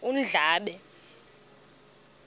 undlambe